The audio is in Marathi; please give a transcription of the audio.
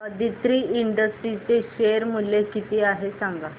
आदित्रि इंडस्ट्रीज चे शेअर मूल्य किती आहे सांगा